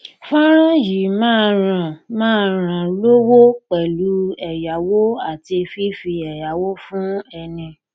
fọnrán yìí máa ràn máa ràn lówó pẹlú ẹyáwó àti fifi ẹyáwó fún ẹni